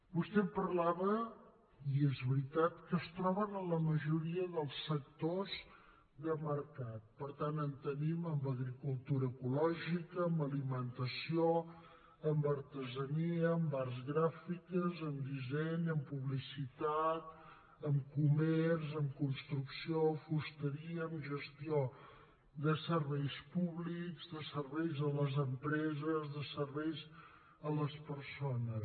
vostè em parlava i és veritat que es troben en la majoria dels sectors de mercat per tant en tenim en agricultura ecològica en alimentació en artesania en arts gràfiques en disseny en publicitat en comerç en construcció a fusteria en gestió de serveis públics de serveis a les empreses de serveis a les persones